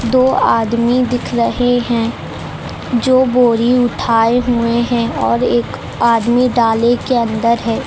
दो आदमी दिख रहे हैं जो बोरी उठाए हुए हैं और एक आदमी डाले के अंदर है।